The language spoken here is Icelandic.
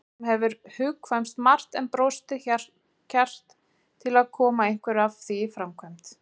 Honum hefur hugkvæmst margt en brostið kjark til að koma einhverju af því í framkvæmd.